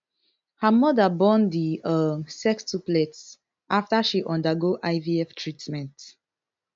her mother born di um sextuplets after she undergo ivf treatment